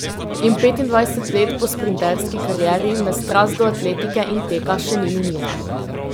In petindvajset let po sprinterski karieri me strast do atletike in teka še ni minila.